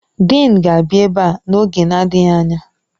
Dịịn ga-abịa ebe a n'oge adịghị anya.